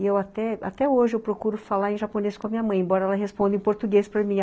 E eu até, até hoje, eu procuro falar em japonês com a minha mãe, embora ela responda em português para mim.